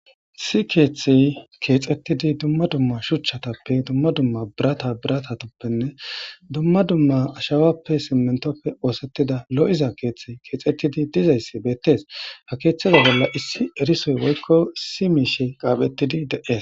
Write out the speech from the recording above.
si keeththey keexettidi dumma dumma shuchchatappe dumma dumma birata birata toppenne dumma dumma ashawappe simentopfe oosettida lo7iza keeththey keexettidi dizayssi beettees ha keeththeza bolla issi erisoy woykko issi miishe qaaphettidi de7ees